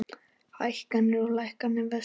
Hækkanir og lækkanir vestra